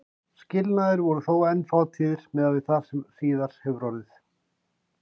Skilnaðir voru þó enn fátíðir miðað við það sem síðar hefur orðið.